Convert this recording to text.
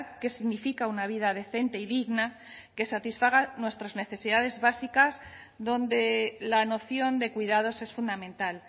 qué significa una vida decente y digna que satisfaga nuestras necesidades básicas donde la noción de cuidados es fundamental